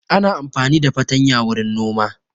Ana amfani da fartanya wurin nima